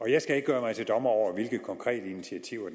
jeg skal ikke gøre mig til dommer over hvilke konkrete initiativer